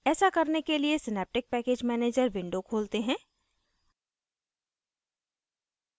ऐसा करने के लिए synaptic package manager window खोलते हैं